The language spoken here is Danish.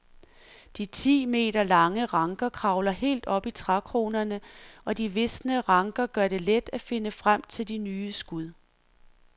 De ti meter lange ranker kravler helt op i trækronerne og de visne ranker gør det let at finde frem til de nye skud.